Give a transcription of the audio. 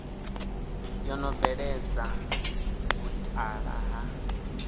yo no bveledza vhutala ha